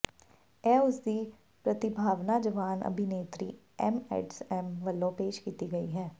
ਇਹ ਉਸਦੀ ਪ੍ਰਤਿਭਾਵਾਨ ਜਵਾਨ ਅਭਿਨੇਤਰੀ ਐਮੀ ਐਡਮਜ਼ ਵੱਲੋਂ ਪੇਸ਼ ਕੀਤੀ ਗਈ ਹੈ